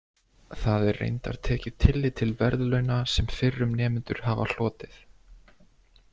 Það er reyndar tekið tillit til verðlauna sem fyrrum nemendur hafa hlotið.